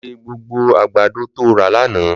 Lò sé gbógbó àgbádó tó rà lànã